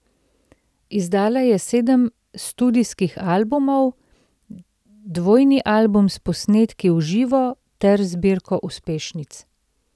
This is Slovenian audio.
Izdala je sedem studijskih albumov, dvojni album s posnetki v živo ter zbirko uspešnic.